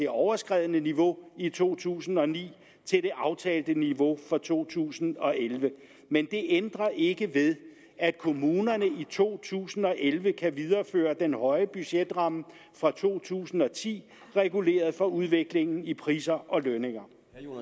overskredne niveau i to tusind og ni til det aftalte niveau for to tusind og elleve men det ændrer ikke ved at kommunerne i to tusind og elleve kan videreføre den høje budgetramme for to tusind og ti reguleret for udviklingen i priser og lønninger